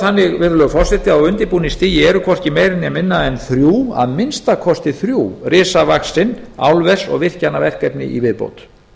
þannig virðulegi forseti að á undirbúningsstigi eru hvorki meira né minna en að minnsta kosti þrjú risavaxin álvers og virkjanaverkefni í viðbót